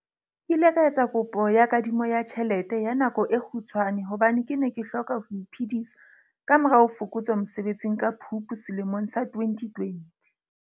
Ke ile ka ya etsa kopo ya kadimo ya tjhelete ya nako e kgutshwane hobane ke ne ke hloka ho iphedisa ka morao ho fokotswa mosebetsing ka Phupu selemong sa 2020.